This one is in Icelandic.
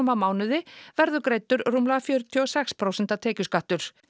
á mánuði verður greiddur rúmlega fjörutíu og sex prósent tekjuskattur